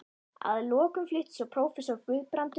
Að lokum flutti svo prófessor Guðbrandur